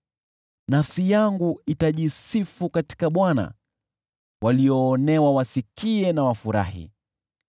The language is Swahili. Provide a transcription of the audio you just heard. Nafsi yangu itajisifu katika Bwana , walioonewa watasikia na wafurahi.